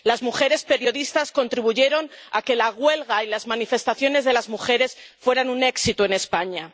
Las mujeres periodistas contribuyeron a que la huelga y las manifestaciones de las mujeres fueran un éxito en España.